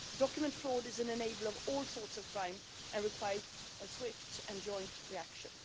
Document fraud is an enabler of all sorts of crime and requires a swift and joint reaction.